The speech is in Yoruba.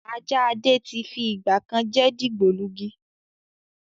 Ajá Adé tí fi ìgbàkan jẹ́ dìgbòlugi